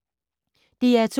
DR2